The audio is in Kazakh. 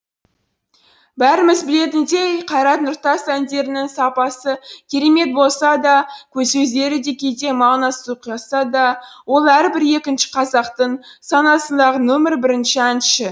бәріміз білетіндей қайрат нұртас әндерінің сапасы керемет болса да сөздері де кейде мағынасыз ұйқасса да ол әрбір екінші қазақтың санасындағы нөмір бірінші әнші